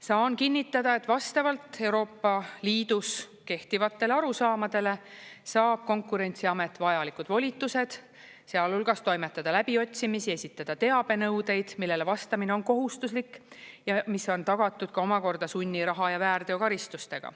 Saan kinnitada, et vastavalt Euroopa Liidus kehtivatele arusaamadele saab Konkurentsiamet vajalikud volitused, sealhulgas toimetada läbiotsimisi, esitada teabenõudeid, millele vastamine on kohustuslik ja mis on tagatud ka omakorda sunniraha ja väärteokaristustega.